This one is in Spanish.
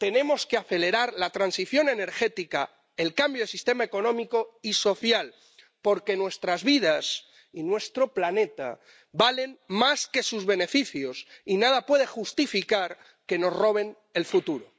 Tenemos que acelerar la transición energética y el cambio de sistema económico y social, porque nuestras vidas y nuestro planeta valen más que sus beneficios y nada puede justificar que nos roben el futuro.